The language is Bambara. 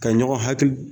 Ka ɲɔgɔn hakili